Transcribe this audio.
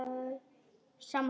Ertu þá að fara?